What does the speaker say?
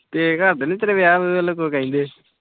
ਤੇਰੇ ਘਰਦੇ ਨੀ ਤੇਰੇ ਵਿਆਹ-ਵਿਆਹੁ ਲਈ ਕੁਝ ਕਹਿੰਦੇ?